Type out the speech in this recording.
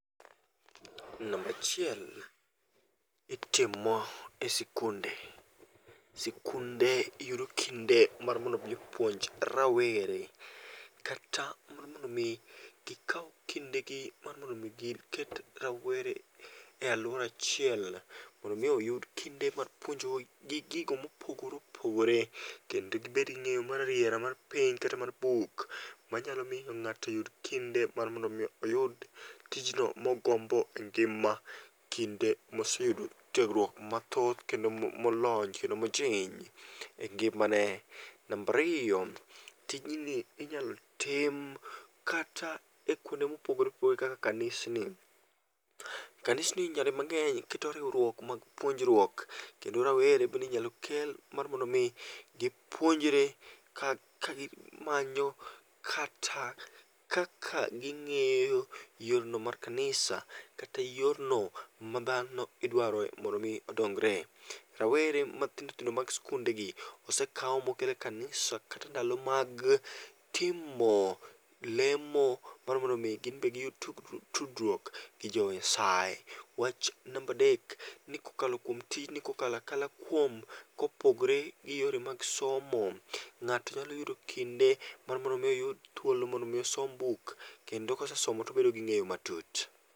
Namba achiel, itime e sikunde. Sikunde yudo kinde mar mondo mi opuonj rawere kata mondo mi gikaw kindegi mar mondo mi giket rawere e aluora achiel, mondo mi oyud kinde mar puonjo gi gigo mopogore opogore kendo gibed gi ng'eyo ma rarieya mar penj kata mar buk manyalo miyo ng'ato oyud kinde mar mondo mi oyud tijno mogombo engima, kinde moseyudo tiegruok mathoth kendo molony kendo mojing' engimane. Namba ariyo, tijni inyalo tim kata ekuonde mopogore opogore kaka kanisni. Kanisni nyadi mang'eny keto riwruok mag puonjruok kendo rawere bende inyalo kel mar mondo mi gipuonjre kagimanyo kata kaka ging'iyo yorno mar kanisa kata yorno ma dhano idwaro mondo mi odongre. Rawere matindo tindo mag sikundegi osekaw mokel e kamnisa kata ensdalo mag timo lemo mar mondo mi giyud tudruok gi jo Nyasaye. Wach namba adek, nikokalo kuom tijni kokalo akala kuom kopogore gi yore mag somo, ng'ato nyalo yudo kinde mar mondo mi oyud thuolo mar mondo m,i osom buk kendo kosesomo to obet ging'eyo matut.